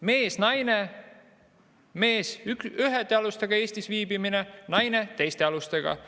Mees või naine – mehel on ühtede alustega Eestis viibimine, naisel teiste alustega.